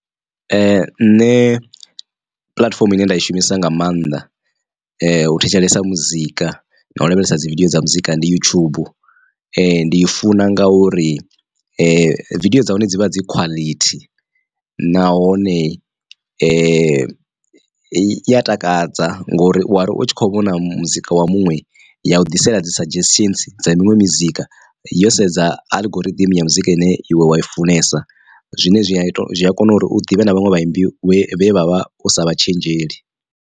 Nṋe puḽatifomo ine nda i shumisa nga maanḓa u thetshelesa muzika na u lavhelesa dzi video dza muzika ndi YouTube. Ndi i funa ngauri video dza hone dzi vha dzi quality, nahone i i ya takadza ngori u wari u tshi kho vhona muzika wa muṅwe ya u ḓisela dzi suggestions dza miṅwe mizika yo sedza algorithm ya muzika ine iwe wa i funesa. Zwine zwi a kona uri u ḓivhe na vhaṅwe vhaimbi we wavha u sa vha tshenzheli.